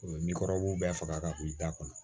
Ni kɔrɔbɔrɔw bɛɛ faga ka bon i da kɔnɔ